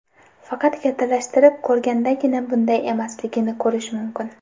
Faqat kattalashtirib ko‘rgandagina bunday emasligini ko‘rish mumkin.